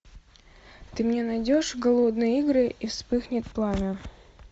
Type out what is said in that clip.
ты мне найдешь голодные игры и вспыхнет пламя